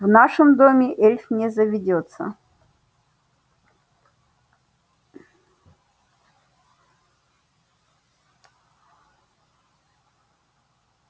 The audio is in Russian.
в нашем доме эльф не заведётся